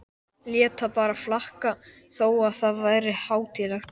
Lét það bara flakka þó að það væri hátíðlegt.